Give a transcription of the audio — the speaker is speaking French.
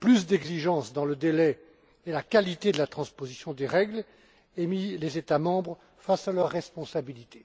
plus d'exigences dans le délai et la qualité de la transposition des règles et mis les États membres face à leurs responsabilités.